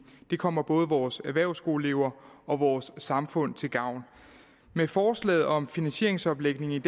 det kommer både vores erhvervsskoleelever og vores samfund til gavn med forslaget om finansieringsomlægningen